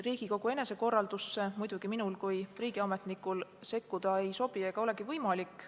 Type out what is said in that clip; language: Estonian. Riigikogu enesekorraldusse minul kui riigiametnikul sekkuda ei sobi ega olegi võimalik.